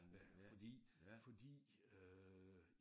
Øh fordi fordi øh